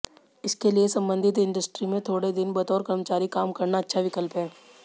इसके लिए संबंधित इंडस्ट्री में थोड़े दिन बतौर कर्मचारी काम करना अच्छा विकल्प है